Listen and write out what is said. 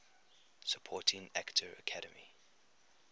supporting actor academy